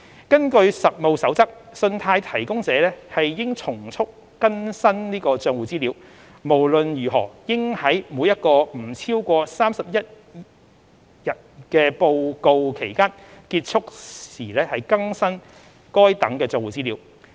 根據《實務守則》，信貸提供者應從速更新帳戶資料，無論如何應在每一個不超過31日的報告期間結束時更新該等帳戶資料。